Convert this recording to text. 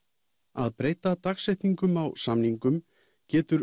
að breyta dagsetningum á samningum getur